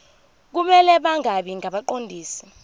kumele bangabi ngabaqondisi